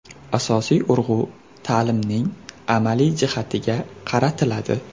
Asosiy urg‘u ta’limning amaliy jihatiga qaratiladi.